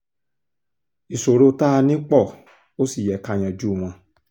ìṣòro tá a ní pó ò sì yẹ ká yanjú wọn